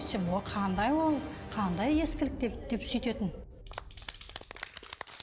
қандай ол қандай ескілік деп деп сөйтетін